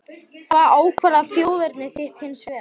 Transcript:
Hvað ákvarðar þjóðerni þitt hins vegar?